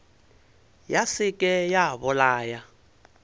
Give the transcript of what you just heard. ya se ke ya bolaya